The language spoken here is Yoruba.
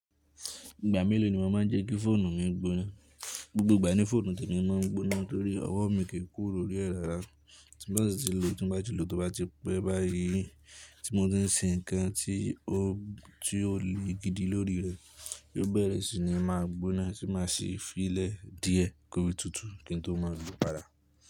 Ìgbà mélòó ni màá máa jẹ́ kí fóònù mi gbóná? Gbogbo ìgbà ni fóònù tèmi ma ń gbóná torí ọwọ́ mi kìí kúrò ní ẹ̀ rárá. Tí mo bá sì ti lò ó, tí mo bá ti lò ó tó bá ti pẹ́ báyìí, tí mo bá ń sin ǹkan tí ó lè gidi lórí rẹ̀, yóò bẹ̀rẹ̀ sí ní máa gbóná, tí màá sì fi í lẹ̀ díẹ̀ kó rí tutù kí n tó má a lò ó padà.